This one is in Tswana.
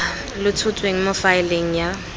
lo tshotsweng mo faeleng ya